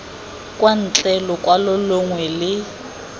kwa ntle lokwalo longwe le